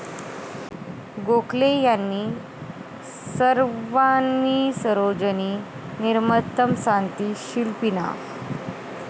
गोखले यांनी 'सौवर्णानी सरोजनी निर्मतम् सांति शिल्पीनाः.